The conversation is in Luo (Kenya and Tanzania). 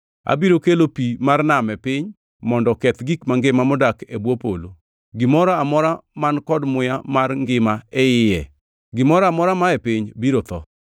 Abiro kelo pi mar nam e piny mondo oketh gik mangima modak e bwo polo, gimoro amora man kod muya mar ngima e iye. Gimoro amora mae piny biro tho.